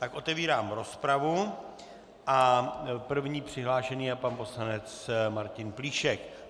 Tak otevírám rozpravu a první přihlášený je pan poslanec Martin Plíšek.